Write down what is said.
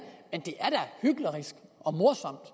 er da hyklerisk og morsomt